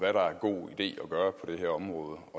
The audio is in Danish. dette område